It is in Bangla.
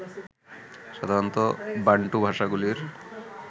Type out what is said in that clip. সাধারণত বান্টু ভাষাগুলির